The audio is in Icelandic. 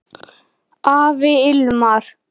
Afi Hilmar.